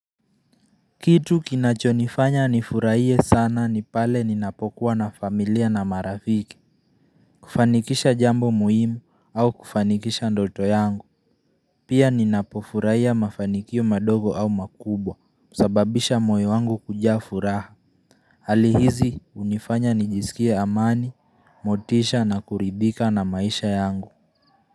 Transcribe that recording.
Kitu kinachonifanya nifurahie sana ni pale ninapokuwa na familia na marafiki kufanikisha jambo muhimu au kufanikisha ndoto yangu Pia ninapofurahia mafanikio madogo au makubwa husababisha moyo wangu kujaa furaha Halihizi unifanya nijisikie amani, motisha na kuridhika na maisha yangu.